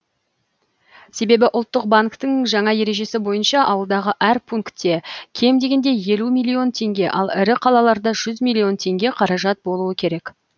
себебі ұлттық банктің жаңа ережесі бойынша ауылдағы әр пункте кем дегенде елу миллион теңге ал ірі қалаларда жүз миллион теңге қаражат болуы керек